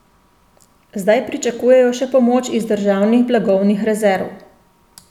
Zdaj pričakujejo še pomoč iz državnih blagovnih rezerv.